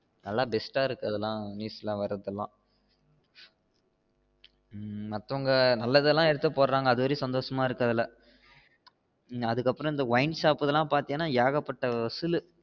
நல்ல best ஆ இருக்குது எல்லாம் news ல வருது இதெல்லாம் உம் மத்தவங்க நல்லது எல்லாம் எடுத்து போடுறாங்க அது வர சந்தோசம்மா இருக்குஅதுல அதுக்கு அப்ரோ இந்த wine shop எல்லாம் பாத்திங்கன ஏகப்பட்ட வசுல்லு